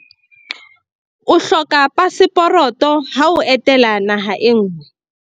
o hloka paseporoto ha o etela naha e nngwe